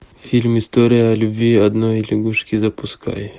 фильм история о любви одной лягушки запускай